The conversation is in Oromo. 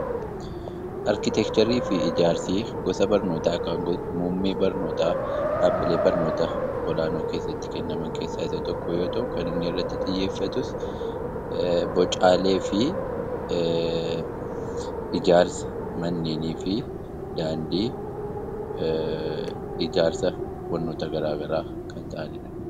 Arkiteekcharii fi ijaarsi gosa barnootaa yookaan muummee barnootaa dhaabbilee barnoota olaanoo keessatti kennaman keessaa isa tokko yoo ta'u, kan inni irratti xiyyeeffatus bocaalee fi ijaarsa manneenii fi daandii ijaarsa wantoota garaagaraati.